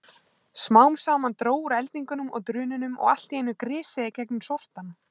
Smám saman dró úr eldingunum og drununum og allt í einu grisjaði gegnum sortann.